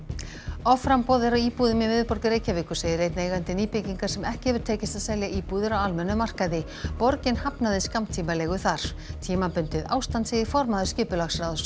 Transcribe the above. offramboð er á íbúðum í miðborg Reykjavíkur segir einn eigandi nýbyggingar sem ekki hefur tekist að selja íbúðir á almennum markaði borgin hafnaði skammtímaleigu þar tímabundið ástand segir formaður skipulagsráðs